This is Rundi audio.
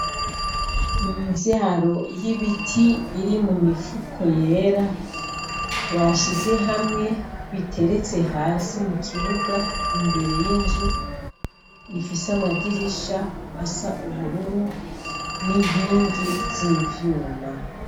Imivyaro y'ibiti iri mu mifuko yera, bashize hamwe biteretse hasi mu kibuga imbere y'inzu ifise amadirisha asa ubururu n'inkingi z'ivyuma.